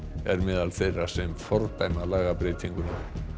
er meðal þeirra sem fordæma lagabreytinguna